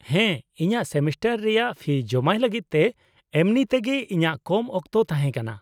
-ᱦᱮᱸ, ᱤᱧᱟᱹᱜ ᱥᱮᱢᱤᱥᱴᱟᱨ ᱨᱮᱭᱟᱜ ᱯᱷᱤ ᱡᱚᱢᱟᱭ ᱞᱟᱹᱜᱤᱫ ᱛᱮ ᱮᱢᱱᱤ ᱛᱮᱜᱮ ᱤᱧᱟᱹᱜ ᱠᱚᱢ ᱚᱠᱛᱚ ᱛᱟᱦᱮᱸ ᱠᱟᱱᱟ ᱾